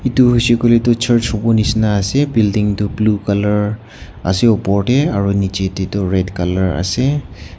tu hoise koiley tu church hobo nishena ase building tu blue colour ase aro niche te tu red colour ase.